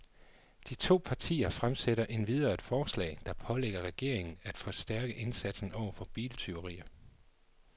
De to partier fremsætter endvidere et forslag, der pålægger regeringen af forstærke indsatsen over for biltyverier.